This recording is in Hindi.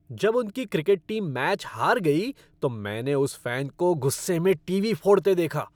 जब उनकी क्रिकेट टीम मैच हार गई तो मैंने उस फ़ैन को गुस्से में टीवी फोड़ते देखा।